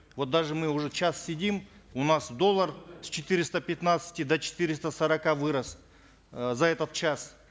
вот даже мы уже час сидим у нас доллар с четыреста пятнадцати до четыреста сорока вырос э за этот час